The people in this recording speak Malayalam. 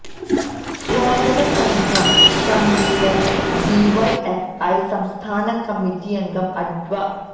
സ്വാഗത സംഘം കണ്വീനര് ഡി വൈ എഫ് ഐ സംസ്ഥാന കമ്മിറ്റിയംഗം അഡ്വ